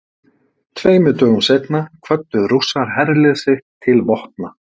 tveimur dögum seinna kvöddu rússar herlið sitt til vopna